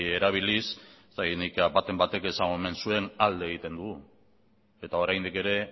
erabiliz ez dakit nik baten batek esan omen zuen alde egiten dugu eta oraindik ere